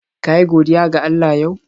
Ka yi godiya ga Allah yau?